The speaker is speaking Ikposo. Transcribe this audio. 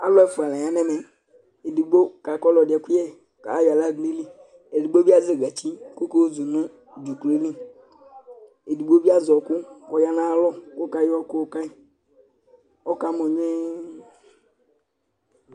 Alʋ ɛfua la yan'ɛmɛ Ɛdigbo kaka ɔlʋɛdi ɛkuyɛ k'ayɔ aɣla dʋ n'ayili, edigbo bi azɛ gatsi kɔka yɔzu nʋ dzʋklɔ yɛ li, edigbo bi azɛ ɔɔkʋ k'ɔya n'ayalɔ k'ɔkayɔ ʋku kayi, ɔkamɔ gnuɛɛ